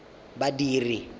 badiri